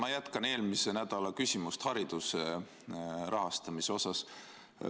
Ma jätkan eelmise nädala küsimust hariduse rahastamise teemal.